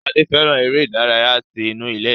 Sade fẹràn eré ìdárayá tí inú ilé.